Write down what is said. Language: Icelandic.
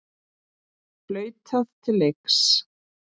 Flautað til leiks.